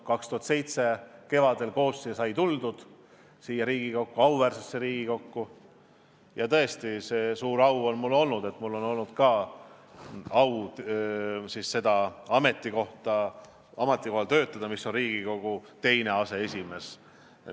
2007. aasta kevadel sai koos siia auväärsesse Riigikokku tuldud ja tõesti mul on olnud suur au töötada ka Riigikogu teise aseesimehe ametikohal.